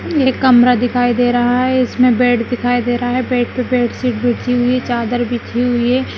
एक कमरा दिखाई दे रहा है इसमें बेड दिखाई दे रहा है बेड पे बेडशीट बिछी हुई है चादर बिछी हुई है।